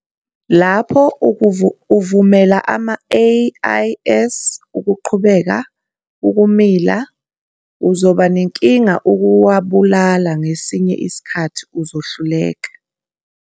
Lapho uvumela ama-AIS ukuqhubeka ukumila, uzoba nenkinga ukuwabulala, ngesinye isikhathi uzohluleka.